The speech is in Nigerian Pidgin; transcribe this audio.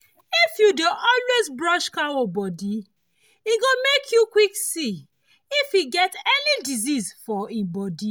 if you dey always dey brush cow body e go make you quick see if e get any disease for e body